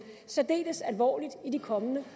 særdeles alvorligt i de kommende